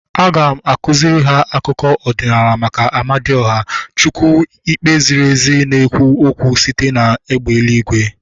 Aga m akụziri ha akụkọ ọdịnala maka Amadioha, chukwu ikpe ziri ezi na-ekwu okwu site na egbe eluigwe